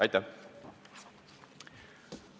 Aitäh!